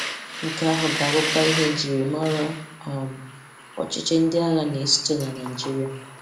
Nke ahụ ga-abụkwa ihe e ji mara um ọchịchị ndị agha na-esote na Naịjirịa.